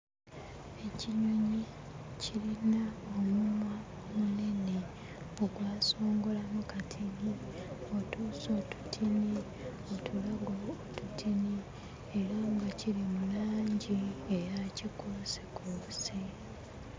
Ekinyonyi kirina omumwa munene ogwasongolamu katini, otuuso tutini, otulago tutini era nga kiri mu langi eya kikuusikuusi.